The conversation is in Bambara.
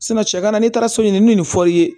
cɛ kana n'i taara so ɲini ni fɔr'i ye